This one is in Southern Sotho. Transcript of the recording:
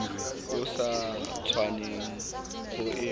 o sa tshwanelang ho e